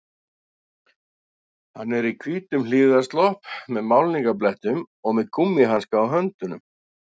Hann er í hvítum hlífðarslopp með málningarblettum og með gúmmíhanska á höndunum